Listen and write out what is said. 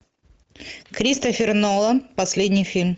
кристофер нолан последний фильм